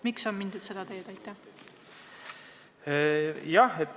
Miks on mindud seda teed?